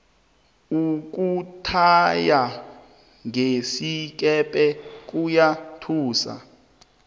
ukuthaya ngesikepe kuyathusa